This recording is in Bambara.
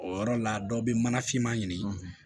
O yɔrɔ la dɔ bɛ mana finma ɲini